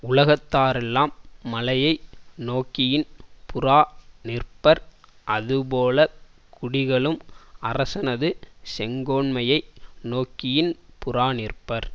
உலகத்தாரெல்லாம் மழையை நோக்கி யின்புறாநிற்பர் அதுபோல குடிகளும் அரசனது செங்கோன்மையை நோக்கியின்புறாநிற்பர்